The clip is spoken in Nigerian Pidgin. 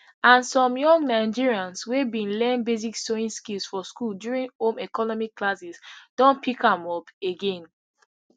and some young nigerians wey bin learn basic sewing skills for school during home economics classes don pick am up again